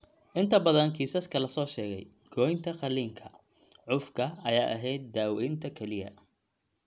Inta badan kiisaska la soo sheegay, goynta qaliinka (saarida) cufka ayaa ahayd daawaynta kaliya.